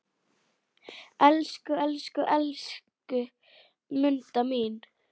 Elsku, elsku, elsku Munda mín.